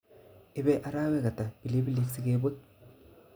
Ibe arowek ata pilipilik sigebut